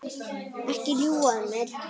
Ekki ljúga að mér.